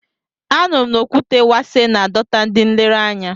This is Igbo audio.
A nụrụ m na Okwute Wase na-adọta ndị nlereanya.